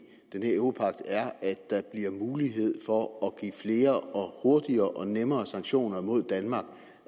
den her europagt er at der bliver mulighed for at give flere hurtigere og nemmere sanktioner mod danmark